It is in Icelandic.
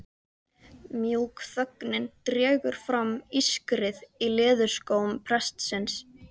mjúk þögnin dregur fram ískrið í leðurskóm prestsins.